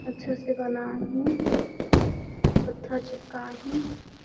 अच्छा से बना हे पत्थर चिपकाए हे।